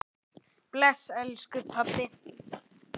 Bless, elsku pabbi.